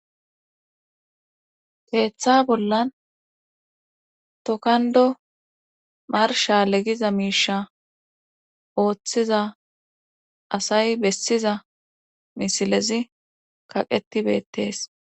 teeththa bollan tokando marsha legiza miisha ooththiza asay bessiza misilezi kaqetibettees